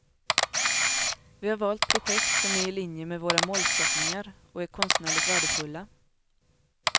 Vi har valt projekt som är i linje med våra målsättningar och är konstnärligt värdefulla.